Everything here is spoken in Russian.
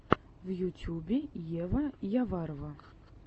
в ютюбе ева яварова